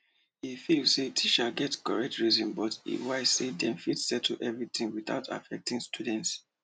e feel say teachers get correct reasons but e wish say dem fit settle everything without affecting the students